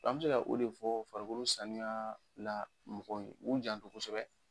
An bɛ se ka o de fɔ farikolo sanuya la mɔgɔw ye, u janto kosɛbɛ,